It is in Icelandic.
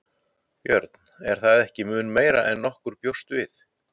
Björn: Er það ekki mun meira en nokkur bjóst við?